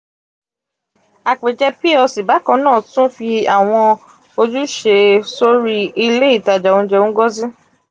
àpèjẹ plc bákan náà tún fi àwọn ojúṣe sórí ilé ìtajà oúnjẹ ngozi.